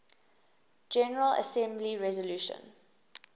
general assembly resolution